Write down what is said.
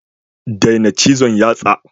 Daina cizon yatsa.